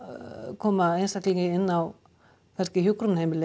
koma einstaklingi inn á hjúkrunarheimili